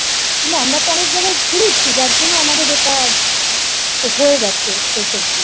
আমরা তো অনেক জায়গায় ঘুরেছি যার জন্য আমাদের এটা হয়ে গেছে শেষ অবধি।